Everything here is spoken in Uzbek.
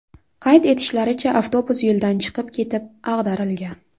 Qayd etishlaricha, avtobus yo‘ldan chiqib ketib, ag‘darilgan.